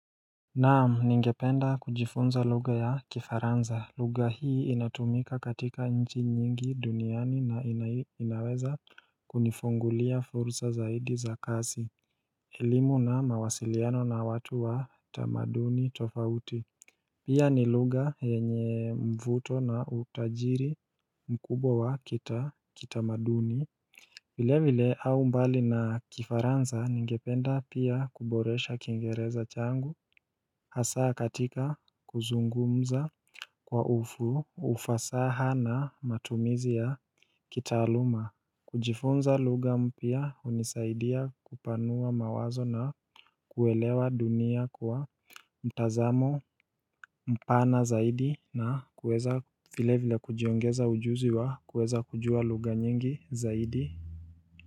Naam, ningependa kujifunza lugha ya kifaransa. Lugha hii inatumika katika nchi nyingi duniani na inaweza kunifungulia fursa zaidi za kazi. Elimu na mawasiliano na watu wa tamaduni tofauti. Pia ni lugha yenye mvuto na utajiri mkubwa wa kita kita maduni. Vile vile au mbali na kifaransa ningependa pia kuboresha kingereza changu Hasaa katika kuzungumza Kwa ufu ufasaha na matumizi ya kitaaluma kujifunza lugha mpya hunisaidia kupanua mawazo na kuelewa dunia kwa mtazamo mpana zaidi na kuweza vile vile kujiongeza ujuzi wa kuweza kujua lugha nyingi zaidi.